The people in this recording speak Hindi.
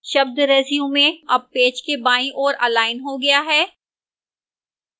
शब्द resume अब पेज के बाईं ओर अलाइन हो गया है